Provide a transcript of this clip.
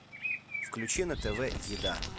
включи на тв еда